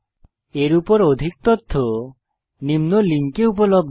এর উপর অধিক তথ্য নিম্ন লিঙ্কে উপলব্ধ